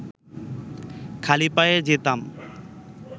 খালি পায়েই যেতাম